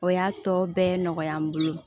O y'a tɔ bɛɛ nɔgɔya n bolo